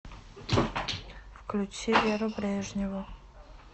включи веру брежневу